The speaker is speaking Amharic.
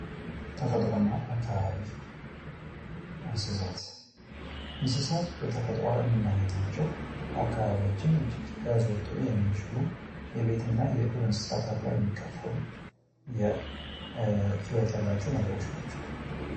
ተፈጥሮና አካባቢ እንስሳት በተፈጥሮ ምናገኛቸው አካባቢያችንን እጅግ ያዘወትሩ የሚችሉ የቤትና የዱር እንስሳት ተብለው የሚከፋፈሉ ህይወት ያላቸው ነገሮች ናቸው።